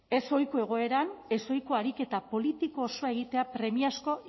ezohiko egoeran ezohiko ariketa politiko osoa egitea premiazkoa